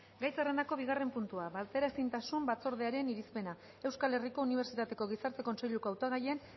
gai zerrendako bigarren puntua bateraezintasun batzordearen irizpena euskal herriko unibertsitateko gizarte kontseiluko hautagaien